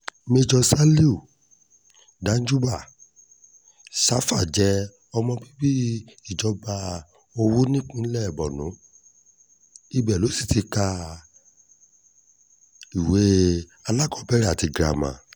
méjọ salihu danjúbà shafa jẹ́ ọmọ bíbí ìjọba ìbílẹ̀ họ́wù nípìnlẹ̀ borno ibẹ̀ ló sì ti kàwé alákọ̀ọ́bẹ̀rẹ̀ àti girama